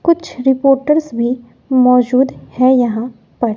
कुछ रिपोटर्स भी मौजूद है यहां पर।